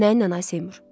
Nə ilə Ay Seymur?